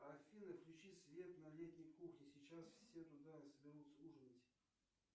афина включи свет на летней кухне сейчас все туда соберутся ужинать